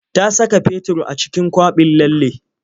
Ta saka fetur a cikin kwaɓin lallen.